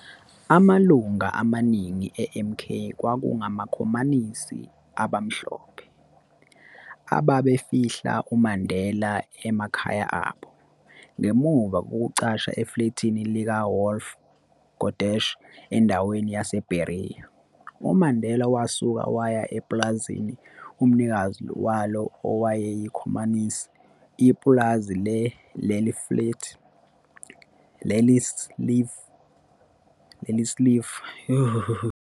Amalunga amaningi e-MK, kwakungamakhomanisi abamhlophe, ababefihla uMandela emakhaya abo, ngemuva kokucasha eflethini lika-Wolfie Kodesh endaweni yase-Berea, uMandela wasuka waya ePulazini, umnikazi walo owakuyikhomanisi, ipulazi le-Liliesleaf Farm elalitholakala endaweni yaseRivonia, lapho ajoyinana khona no-Raymond Mhlaba, uSlovo, kanye noBernstein, okwaba nguye owabhala umthethosisekelo we-MK.